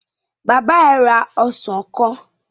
Bàbá ẹ ra ọsàn kan?